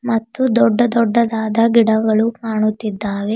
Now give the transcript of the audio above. ಮತ್ತು ದೊಡ್ಡ ದೊಡ್ಡದಾದ ಗಿಡಗಳು ಕಾಣುತ್ತಿದ್ದಾವೆ.